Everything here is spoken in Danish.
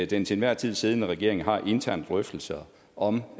den til enhver tid siddende regering har interne drøftelser om